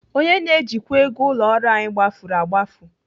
Onye na-ejikwa ego ụlọ ọrụ anyị gbafuru agbafu.